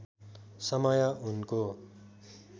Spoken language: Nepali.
समय उनको